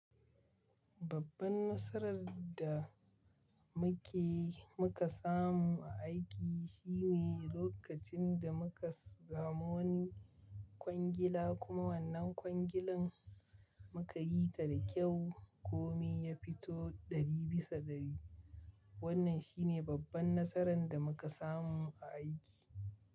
Babban nasarar da muke muka samu a aiki shine lokacin da muka samu wani kwangila kuma wannan kwangilan muka yi ta da kyau. Kome ya fito ɗari bisa ɗari. Wannan shine babban nasarar da muka samu a aiki.